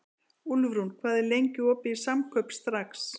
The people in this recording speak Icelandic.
Úlfrún, hvað er lengi opið í Samkaup Strax?